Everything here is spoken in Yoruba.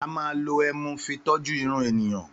Àmá ló ẹmú fí tọjú ìrún ẹníyàn.